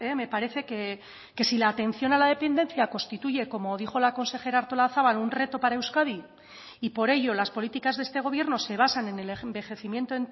me parece que si la atención a la dependencia constituye como dijo la consejera artolazabal un reto para euskadi y por ello las políticas de este gobierno se basan en el envejecimiento